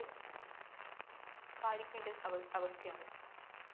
പാലിക്കേണ്ട അവസ്ഥ അവസ്ഥയാണ്.